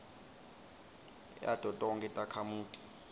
yato tonkhe takhamuti